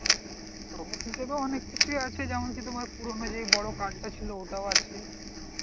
অনেক কিছুই আছে যেমন কি তোমার পুরোনো যে বড় কাজটা ছিল ওটাও আছে।